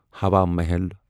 ہوا محل